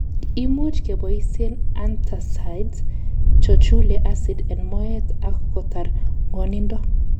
Imuch keboisien Antacids chochule acid en moet ak kotar ng'wonindo.